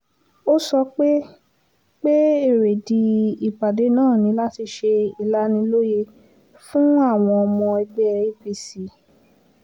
ó sọ pé pé èrèdí ìpàdé náà ni láti ṣe ìlanilóye fún àwọn ọmọ ẹgbẹ́ apc